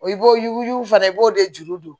I b'o yuguyugu fana i b'o de juru don